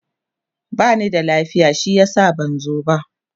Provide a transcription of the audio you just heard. bani da lafiya shi yasa ban zo ba